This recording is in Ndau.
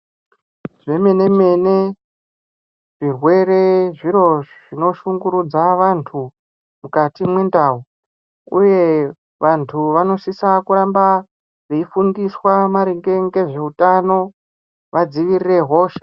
Zvemene-mene zvirwre zviro zvinoshungurudza vantu mukati mwendau uye vantu vanosisa kuramba veifundiswa maringe ngezveutano vadzivirire hosha.